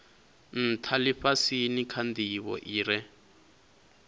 ntha lifhasini kha ndivho ire